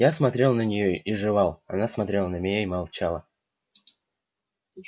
я смотрел на неё и жевал она смотрела на меня и молчала